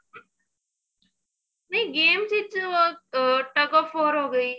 ਨਹੀਂ games ਵਿੱਚ tuk of war ਹੋ ਗਈ